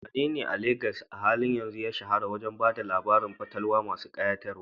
Wanene a Legas a halin yanzu ya shahara wajen ba da labarun fatalwa masu kayatarwa?